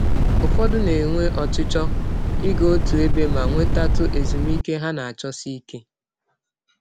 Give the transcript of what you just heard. Ụfọdụ na - enwe ọchịchọ ịga ọtụ ebe ma nwetatụ ezụmịke ha na - achọsi ike.